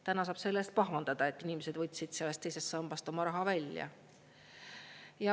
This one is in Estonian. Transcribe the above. Täna saab selle eest pahandada, et inimesed võtsid sellest teisest sambast oma raha välja.